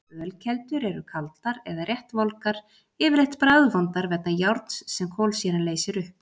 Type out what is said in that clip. Ölkeldur eru kaldar eða rétt volgar, yfirleitt bragðvondar vegna járns sem kolsýran leysir upp.